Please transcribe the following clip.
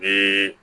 Ee